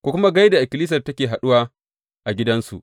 Ku kuma gai da ikkilisiyar da take haɗuwa a gidansu.